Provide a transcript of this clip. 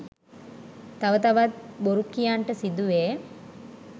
තව තවත් බොරු කියන්නට සිදුවේ.